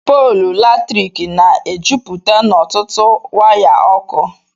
Pọọlụ Latrịkị Na - Ejụpụte N' Ọtụtụ Waya Ọkụ